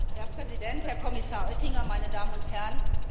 Herr Präsident, Herr Kommissar Oettinger, meine Damen und Herren!